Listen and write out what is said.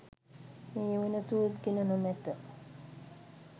මේ වන තුරුත් ගෙන නොමැත